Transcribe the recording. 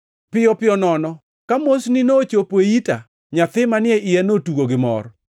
Piyo piyo nono ka mosni nochopo e ita, nyathi manie iya notugo gi mor.